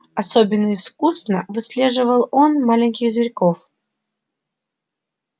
особенно искусно выслеживал он маленьких зверьков